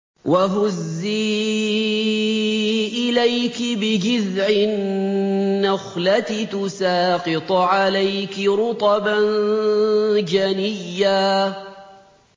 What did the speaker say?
وَهُزِّي إِلَيْكِ بِجِذْعِ النَّخْلَةِ تُسَاقِطْ عَلَيْكِ رُطَبًا جَنِيًّا